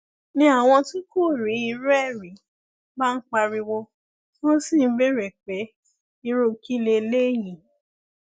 ni àwọn tí kò rí irú ẹ rí bá ń pariwo tí wọn sì ń béèrè pé irú kí lélẹyìí